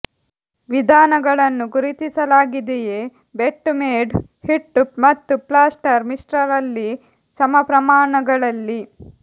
ವಿಧಾನಗಳನ್ನು ಗುರುತಿಸಲಾಗಿದೆಯೇ ಬೆಟ್ ಮೇಡ್ ಹಿಟ್ಟು ಮತ್ತು ಪ್ಲಾಸ್ಟರ್ ಮಿಶ್ರ ರಲ್ಲಿ ಸಮಪ್ರಮಾಣಗಳಲ್ಲಿ